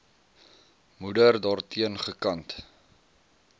moeder daarteen gekant